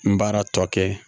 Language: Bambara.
N baara tɔ kɛ